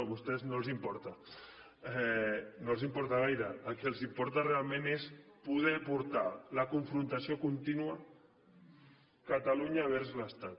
a vostès no els importa no els importa gaire el que els importa realment és poder portar la confrontació contínua catalunya vers l’estat